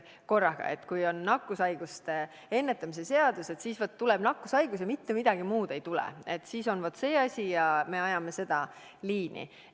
Seega ei ole nii, et kui on tegemist nakkushaiguste ennetamise seadusega, siis tuleb tegeleda ainult nakkushaigusega, sest mitte midagi muud ei tule, on ainult see üks asi ja me ajame seda liini.